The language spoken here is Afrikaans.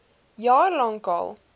jaar lank al